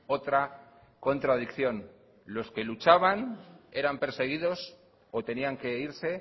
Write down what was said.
otra contradicción los que luchaban eran perseguidos o tenían que irse